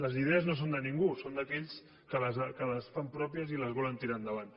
les idees no són de ningú són d’aquells que les fan pròpies i les volen tirar endavant